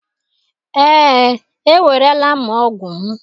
ee, ewerela m ọgwụ m